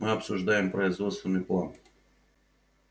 мы обсуждаем производственный план